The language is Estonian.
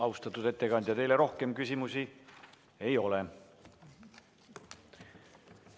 Austatud ettekandja, teile rohkem küsimusi ei ole.